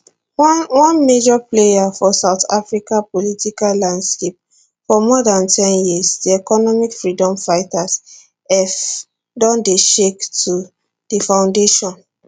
one one major player for south africa political landscape for more dan ten years di economic freedom fighters eff don dey shake to di foundation